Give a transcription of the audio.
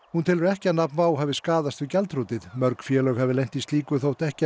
hún telur ekki að nafn WOW hafi skaðast við gjaldþrotið mörg félög hafi lent í slíku þótt ekki